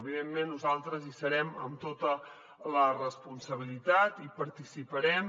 evidentment nosaltres hi serem amb tota la responsabilitat hi participarem